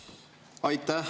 Aitäh!